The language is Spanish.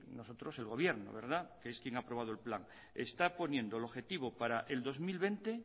nosotros el gobierno que es quien ha aprobado el plan está poniendo el objetivo para el dos mil veinte